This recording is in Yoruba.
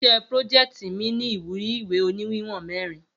Iṣẹ́ prójeẹ̀tì mi ni ìwúrí ìwé òní wíwòn mẹrin